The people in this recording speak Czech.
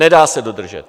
Nedá se dodržet.